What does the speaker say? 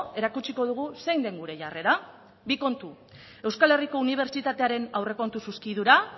erakutsiko dugu zein den gure jarrera bi kontu euskal herriko unibertsitatearen aurrekontu zuzkidura